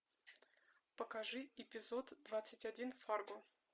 покажи эпизод двадцать один фарго